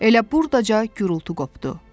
Elə burdaca gurultu qopdu.